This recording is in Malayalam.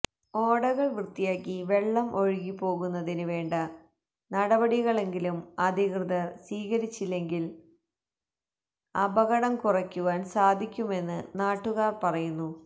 ഓടകള് വൃത്തിയാക്കി വെള്ളം ഒഴുകി പോകുന്നതിന് വേണ്ട നടപടികളെങ്കിലും അധികൃതര് സ്വീകരിച്ചെങ്കില് അപകടം കുറയ്ക്കുവാന് സാധിക്കുമെന്ന് നാട്ടുകാര് പറയുന്നു